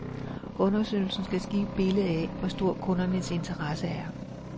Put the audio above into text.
Undersøgelsen skal give et billede af, hvor stor kundernes interesse er.